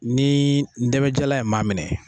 Ni ndamajalan ye maa minɛ.